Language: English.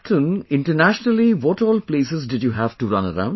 Captain, internationally what all places did you have to run around